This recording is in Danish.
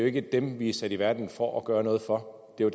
ikke dem vi er sat i verden for at gøre noget for det er